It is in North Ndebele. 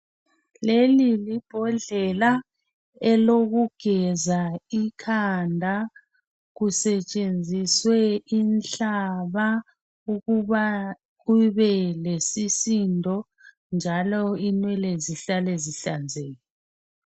Leli libhodlela elokugeza ikhanda kusetshenziswe inhlaba .Ukuba kube lesisindo njalo inwele zihlale zihlanzekile.